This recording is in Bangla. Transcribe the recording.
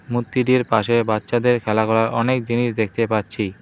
মন্দিরের পাশে বাচ্চাদের খেলা করার অনেক জিনিস দেখতে পাচ্ছি।